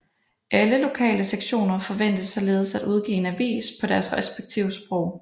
Alle lokale sektioner forventes således at udgive en avis på deres respektive sprog